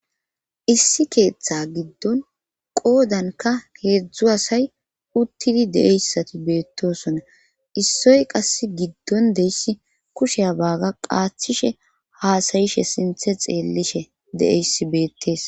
Issi keeththe giddon qoodanikka heezzu asay uttidi de'iya issati beettosonna. Issoy qasse giddon de'iya issi kushe baaga qaaththishe haasayishe sinthe xeellishe de'iya issi beettees.